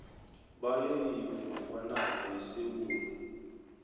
bayo yebhugwanakho yesewula